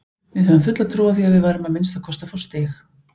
Við höfðum fulla trú á því að við værum að minnsta kosti að fá stig.